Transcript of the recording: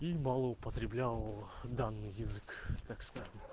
и мало употреблял в данный язык так скажем